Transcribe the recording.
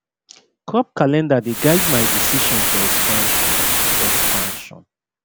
crop calender dey guide my decision for expansion expansion